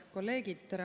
Head kolleegid!